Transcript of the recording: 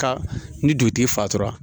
Ka ni dugutigi fatura